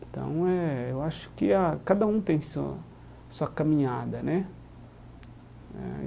Então, eh eu acho que ah cada um tem sua sua caminhada, né? Eh